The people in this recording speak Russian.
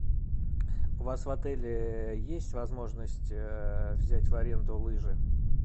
у вас в отеле есть возможность взять в аренду лыжи